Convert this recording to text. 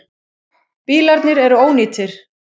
Bílarnir eru ónýtir.